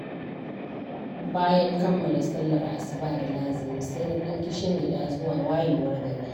Bayan kammala sallar asuba da lazimi sai na ɗan kishingiɗa zuwa wayewar gari.